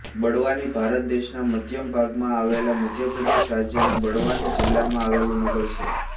બડવાની ભારત દેશના મધ્ય ભાગમાં આવેલા મધ્ય પ્રદેશ રાજ્યના બડવાની જિલ્લામાં આવેલું નગર છે